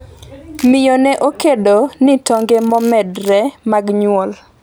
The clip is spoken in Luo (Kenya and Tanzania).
. Miyo ne okedo ni tonge momedore mag nyuol